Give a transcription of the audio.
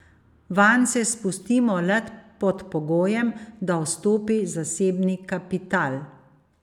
Vanj se spustimo le pod pogojem, da vstopi zasebni kapital.